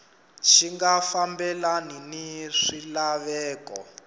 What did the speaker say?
xi nga fambelani ni swilaveko